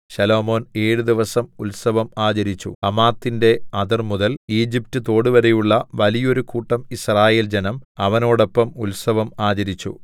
ശലോമോൻ ഏഴു ദിവസം ഉൽസവം ആചരിച്ചു ഹമാത്തിന്റെ അതിർമുതൽ ഈജിപറ്റ് തോടുവരെയുള്ള വലിയൊരു കൂട്ടം യിസ്രായേൽജനം അവനോടൊപ്പം ഉത്സവം ആചരിച്ചു